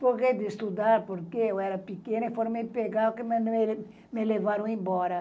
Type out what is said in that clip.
de estudar, porque eu era pequena e foram me pegar, me levaram embora.